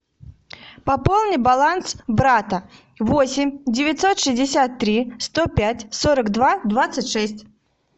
пополни баланс брата восемь девятьсот шестьдесят три сто пять сорок два двадцать шесть